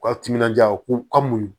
U ka timinandiya u ka muɲu